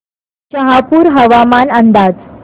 शहापूर हवामान अंदाज